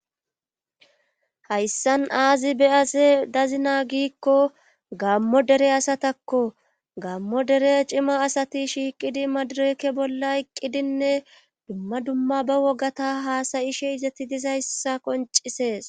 hayssan aazi beyase dazina giikko gammo dere asatakko gammo dere cima asati shiiqidi madurekke bolla iqqidinne dumma dumma ba wogata haasayishe izetti dizayssa qoncisees